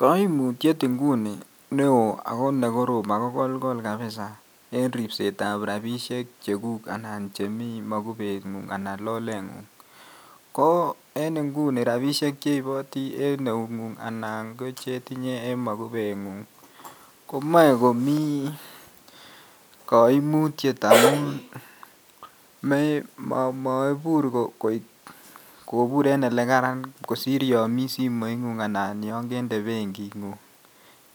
Kaimutyet inguni neo ako nekorom ako kolkol kabza en ripset ab rabisiek chekuk anan chemi mobugeng'ung anan loleng'ung, ko en inguni rabisiek cheiboti en eung'ung anan ko chetinye en mobugeng'ung ko moe komi koimutyet amun moibur en elekaran kosir yomi simoing'ung anan yon kende benging'ung